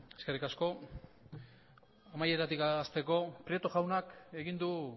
eskerrik asko amaieratik hasteko prieto jaunak egin du